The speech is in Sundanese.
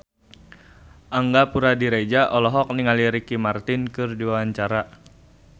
Angga Puradiredja olohok ningali Ricky Martin keur diwawancara